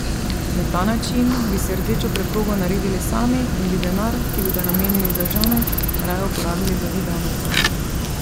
Na ta način bi si rdečo preprogo naredili sami in bi denar, ki bi ga namenili za žamet, raje uporabili za video nadzor.